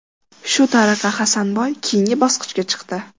Shu tariqa Hasanboy keyingi bosqichga chiqdi.